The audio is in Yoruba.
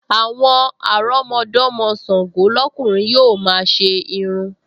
Àwọn àrọ́mọdọ́mọ Ṣàngọ́ lọ́kùnrin yóò máa ṣe irun